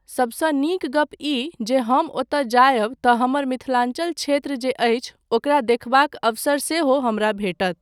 सबसँ नीक गप ई जे जँ हम ओतय जायब तँ हमर मिथिलाञ्चल क्षेत्र जे अछि ओकरा देखबाक अवसर सेहो हमरा भेटत।